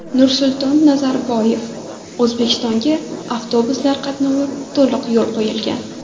Nursulton Nazarboyev: O‘zbekistonga avtobuslar qatnovi to‘liq yo‘lga qo‘yilgan.